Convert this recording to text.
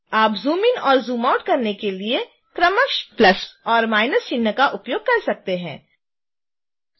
आप zoom in और zoom out करने के लिए क्रमशः + और – चिन्ह का उपयोग कर सकते हैं